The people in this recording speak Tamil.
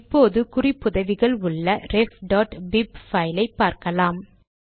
இப்போது குறிப்புதவிகள் உள்ள refபிப் பைலை பார்க்கலாம்